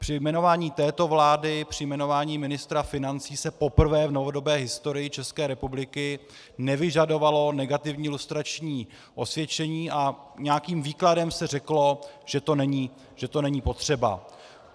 Při jmenování této vlády, při jmenování ministra financí se poprvé v novodobé historii České republiky nevyžadovalo negativní lustrační osvědčení a nějakým výkladem se řeklo, že to není potřeba.